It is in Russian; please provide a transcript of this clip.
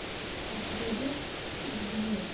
у тебя есть из вне